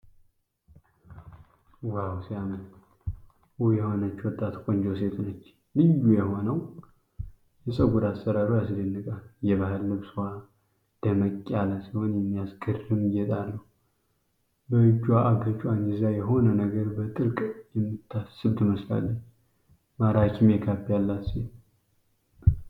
ዋው ሲያምር! ውብ የሆነች ወጣት ቆንጆ ሴት ነች። ልዩ የሆነው የፀጉር አሠራሯ ያስደንቃል! የባህል ልብሷ ደመቅ ያለ ሲሆን የሚያምር ጌጥ አለው። በእጅዋ አገጯን ይዛ የሆነ ነገር በጥልቅ የምታስብ ትመስላለች። ማራኪ ሜካፕ ያላት ሴት!